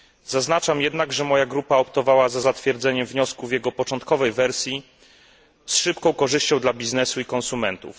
Zaznaczam jednak, że moja grupa optowała za zatwierdzeniem wniosku w jego początkowej wersji z szybką korzyścią dla biznesu i konsumentów.